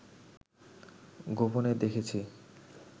গোপনে দেখেছি